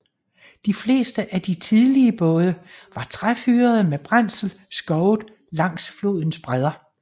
De fleste af de tidlige både var træfyrede med brændsel skovet langs flodens bredder